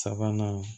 Sabanan